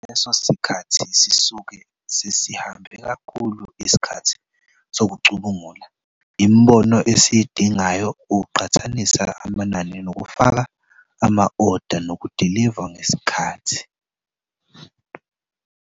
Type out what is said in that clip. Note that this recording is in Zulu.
Ngaleso sikhathi sisuke sesihambe kakhulu isikhathi sokucubungula imibono esiyidingayo, ukuqhathanisa amanani nokufaka ama-oda nokudilivwa ngesikhathi.